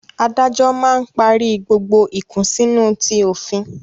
Adájọ́ máa ń parí gbogbo ìkùnsínú ti òfin